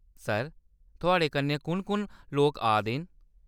Sir, थुआड़े कन्नै कु'न-कु'न लोक आ 'दे न ?